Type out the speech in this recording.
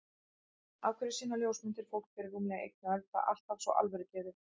Af hverju sýna ljósmyndir fólk fyrir rúmlega einni öld það alltaf svo alvörugefið?